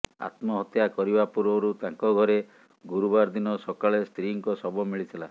ଆତ୍ମହତ୍ୟା କରିବା ପୂର୍ବରୁ ତାଙ୍କ ଘରେ ଗୁରୁବାର ଦିନ ସକାଳେ ସ୍ତ୍ରୀ ଙ୍କ ଶବ ମିଳିଥିଲା